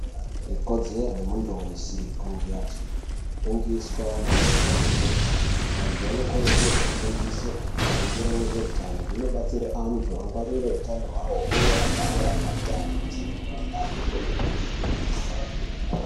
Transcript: Iko dzero yemuntu weshe kunge echiri ngiswa maererano nge zveitano. Vantu vano kurudzirwe kufundi swe maringe nezve utano. Zvino batsire antu angwarire utano hwavo uye agare ari atano asina mikhuhlani kwemene.